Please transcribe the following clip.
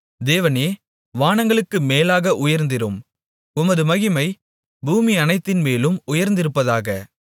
தேவனே வானங்களுக்கு மேலாக உயர்ந்திரும் உமது மகிமை பூமியனைத்தின்மேலும் உயர்ந்திருப்பதாக